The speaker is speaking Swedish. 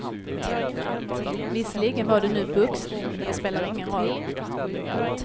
Visserligen var det nu boxning, men det spelar ingen roll.